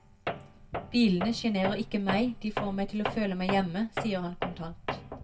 Bilene sjenerer ikke meg, de får meg til å føle meg hjemme, sier han kontant.